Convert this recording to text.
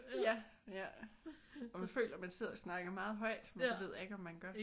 Ja! Ja og man føler man sidder og snakker meget højt men det ved jeg ikke om man gør